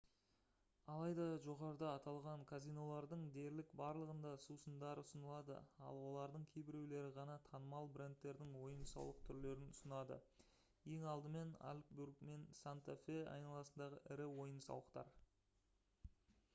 алайда жоғарыда аталған казинолардың дерлік барлығында сусындар ұсынылады ал олардың кейбіреулері ғана танымал брендтердің ойын-сауық түрлерін ұсынады ең алдымен альбукерке мен санта-фе айналасындағы ірі ойын-сауықтар